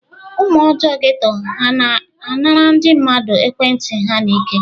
Ụmụ ọjọọ geto ha na-anara ndị mmadụ ekwentị ha n'ike?